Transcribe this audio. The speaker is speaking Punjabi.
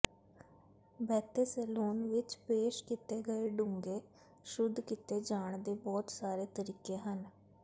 ਬਹਤੇ ਸੈਲੂਨ ਵਿਚ ਪੇਸ਼ ਕੀਤੇ ਗਏ ਡੂੰਘੇ ਸ਼ੁੱਧ ਕੀਤੇ ਜਾਣ ਦੇ ਬਹੁਤ ਸਾਰੇ ਤਰੀਕੇ ਹਨ